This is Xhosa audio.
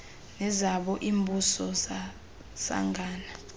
nezabo iimbuso zasangana